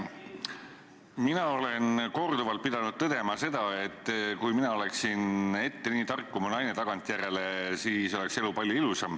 Mina olen korduvalt pidanud tõdema seda, et kui mina oleksin ette nii tark kui mu naine tagantjärele, siis oleks elu palju ilusam.